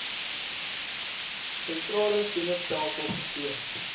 sentrale senustelsel vertoon